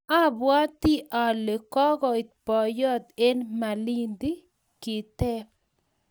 Abwati ale kokoit boiyot eng malindi? Kiteb